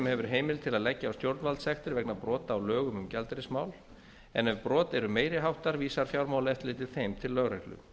hefur heimild til að leggja á stjórnvaldssektir vegna brota á lögum um gjaldeyrismál en ef brot eru meiri háttar vísað fjármálaeftirlitið þeim til lögreglu